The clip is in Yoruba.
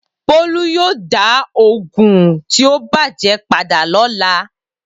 Bolu yoo da oogun ti o bàjé pada lọla